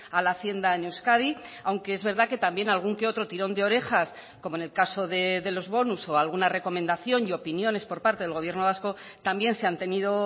a la hacienda en euskadi aunque es verdad que también algún que otro tirón de orejas como en el caso de los bonus o alguna recomendación y opiniones por parte del gobierno vasco también se han tenido